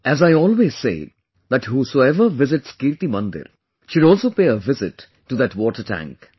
As I always say that whosoever visits KirtiMandir, should also pay a visit to that Water Tank